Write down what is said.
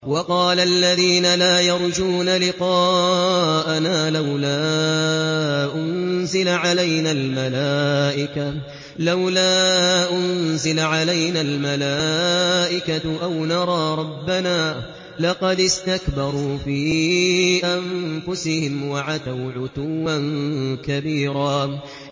۞ وَقَالَ الَّذِينَ لَا يَرْجُونَ لِقَاءَنَا لَوْلَا أُنزِلَ عَلَيْنَا الْمَلَائِكَةُ أَوْ نَرَىٰ رَبَّنَا ۗ لَقَدِ اسْتَكْبَرُوا فِي أَنفُسِهِمْ وَعَتَوْا عُتُوًّا كَبِيرًا